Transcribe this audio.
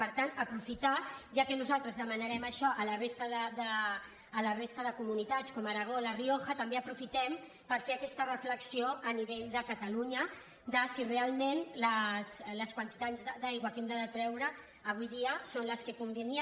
per tant ja que nosaltres demanarem això a la resta de comunitats com l’aragó o la rioja també aprofitem per fer aquesta reflexió a nivell de catalunya de si realment les quantitats d’aigua que hem de treure avui dia són les que convindrien